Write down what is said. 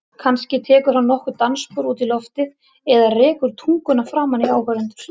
Kannski tekur hann nokkur dansspor út í loftið eða rekur tunguna framan í áhorfendur.